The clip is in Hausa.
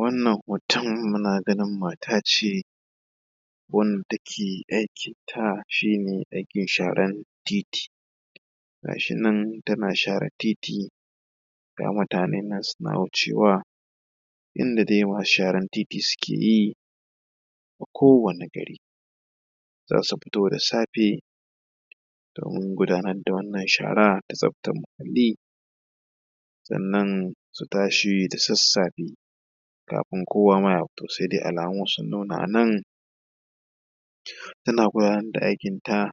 wannan hoton muna ganin mata ce wanda take aiki ta shemin aikin sharan titi gashi nan tana share titi ga mutane nan suna wucewa yadda dai masu sharan titi suke yi a kowani gari za su fito da safe domin gudanar da wannan shara da tsaftar muhalli sannan su tashi da sassafe kafin kowama ya fito sai dai alamu sun nuna a nan tana gudanar da aikin ta